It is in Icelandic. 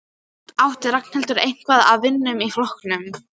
Þó átti Ragnhildur eitthvað af vinum í flokknum.